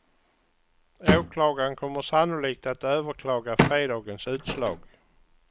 Åklagaren kommer sannolikt att överklaga fredagens utslag.